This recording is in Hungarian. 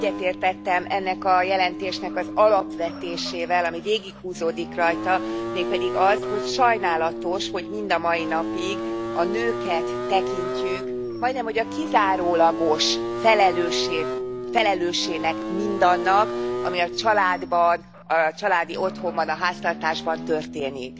Én egyetértettem ennek a jelentésnek az alapvetésével, ami végighúzódik rajta, mégpedig hogy sajnálatos, hogy mind a mai napig a nőket tekintjük majdnem hogy a kizárólagos felelősének mindannak, ami a családban, a családi otthonban, a háztartásban történik.